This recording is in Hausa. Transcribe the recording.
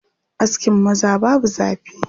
Askin maza babu zafi.